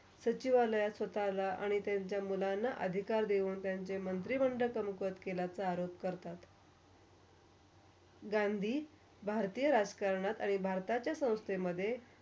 स्वताला आणि त्यांच्या मुलांना अधिकार देऊन त्यांच्या मंत्री मंडलचा मुखत केलाचा आरोप करतात. गांधी, भरतीच्या राजकरणात आणि भारताच्या संस्कृतीमधे.